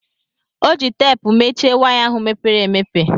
Ọ ji teepu mechie waya ahụ mepere emepe.